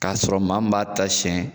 K'a sɔrɔ maa min b'a ta siɲɛ